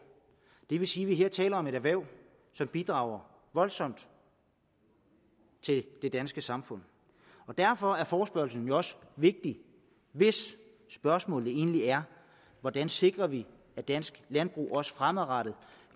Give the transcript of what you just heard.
det vil sige at vi her taler om et erhverv som bidrager voldsomt til det danske samfund derfor er forespørgslen jo også vigtig hvis spørgsmålet egentlig er hvordan sikrer vi at dansk landbrug også fremadrettet